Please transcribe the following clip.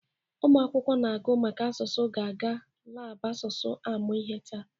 Ụmụ akwụkwọ na-agụ maka asụsụ ga-aga labụ asụsụ amụ ihe taa